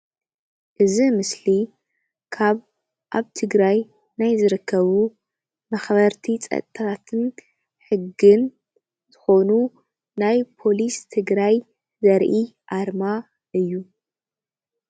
እዚ ምስሊ ካብ ኣብ ትግራይ ናይ ዝርከቡ ኣኽበርቲ ፀጥታትን ሕግን እንትኾኑ ናይ ፖሊስ ትግራይ ዘርኢ ኣርማ እዩ ።